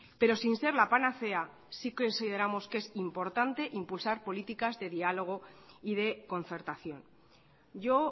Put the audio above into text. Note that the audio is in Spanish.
pero sin ser la panacea sí consideramos que es importante impulsar políticas de diálogo y de concertación yo